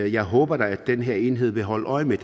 jeg håber da at den her enhed vil holde øje med